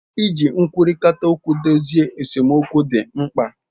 Iji nkwurita okwu dozie esemokwu di mkpa.